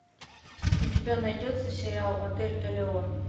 у тебя найдется сериал отель элеон